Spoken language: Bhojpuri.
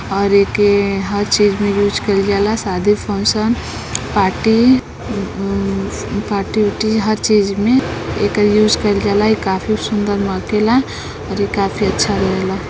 और एके हर चीज़ में यूज कईल जाला। शादी फंक्शन पार्टी पार्टी ऊटी हर चीज़ में एकर यूज कईल जाला। ई काफी सुंदर मागेला और ई काफी अच्छा लागेला।